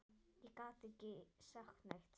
Ég gat ekki sagt neitt.